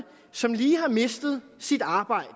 som lige har mistet sit arbejde